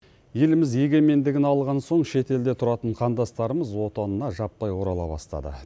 еліміз егемендігін алған соң шетелде тұратын қандастарымыз отанына жаппай орала бастады